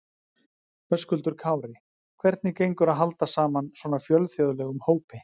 Höskuldur Kári: Hvernig gengur að halda saman svona fjölþjóðlegum hópi?